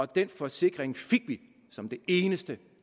den forsikring fik vi som det eneste